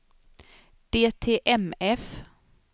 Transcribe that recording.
DTMF